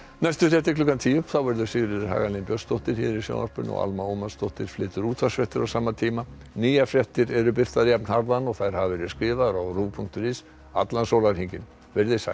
næstu fréttir klukkan tíu þá verður Sigríður Hagalín Björnsdóttir hér í sjónvarpinu og Alma Ómarsdóttir flytur útvarpsfréttir á sama tíma nýjar fréttir eru birtar jafnharðan og þær hafa verið skrifaðar á rúv punktur is allan sólarhringinn veriði sæl